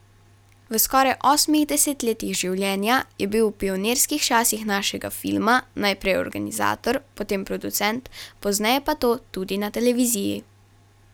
V skoraj osmih desetletjih življenja je bil v pionirskih časih našega filma najprej organizator, potem producent, pozneje pa to tudi na televiziji.